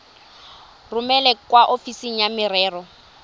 romele kwa ofising ya merero